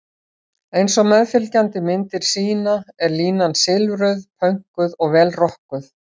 Eins og meðfylgjandi myndir sýna er línan silfruð, pönkuð og vel rokkuð.